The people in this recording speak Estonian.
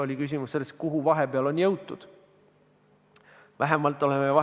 Neljas küsimus: "Toetades eelnõu 118, kindlustate tänaste ravimihulgimüüjate turupositsiooni, mille üle on neil põhjust rõõmu tunda.